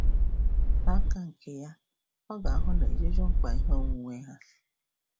N'aka nke ya, ọ ga-ahụ na ejuju mkpa ihe onwunwe ha.